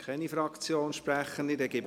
– Es gibt keine Fraktionssprechenden mehr.